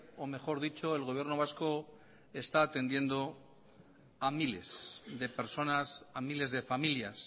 o mejor dicho el gobierno vasco está atendiendo a miles de personas a miles de familias